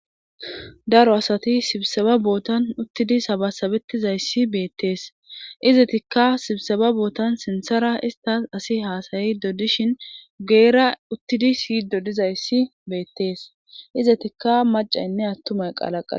Daro asati sibiseba bootan uttidii sabasabettizayssi beettees izetikka sibiseba bootan sinthara istas asi haasayido dishin guyera uttidii siyyido dizayssi beettees izetikka macaynne attumay qalaqallo